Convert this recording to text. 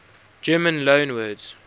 german loanwords